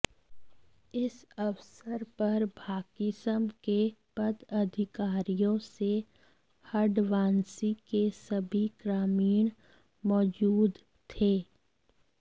इस अवसर पर भाकिसं के पदाधिकारियों से हडवांसी के सभी ग्रामीण मौजूद थे